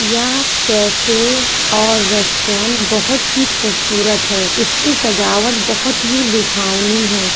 यह कैफे और रेस्टोरेंट बहोत ही खूबसूरत है इसकी सजावट बहुत ही लुभावनी है।